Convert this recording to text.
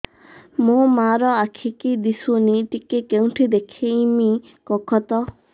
ମୋ ମା ର ଆଖି କି ଦିସୁନି ଟିକେ କେଉଁଠି ଦେଖେଇମି କଖତ